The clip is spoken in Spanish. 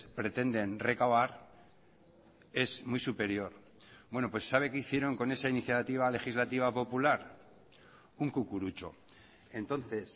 pretenden recabar es muy superior bueno pues sabe qué hicieron con esa iniciativa legislativa popular un cucurucho entonces